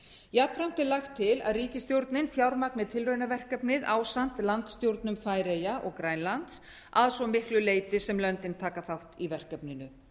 jafnframt er lagt til að ríkisstjórnin fjármagni tilraunaverkefnið ásamt landsstjórnum færeyja og grænlands að svo miklu leyti sem löndin taka þátt í verkefninu